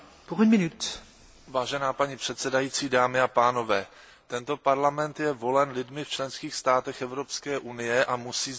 Vážená paní předsedající, dámy a pánové, tento parlament je volen lidmi v členských státech Evropské unie a musí sdílet jejich osud.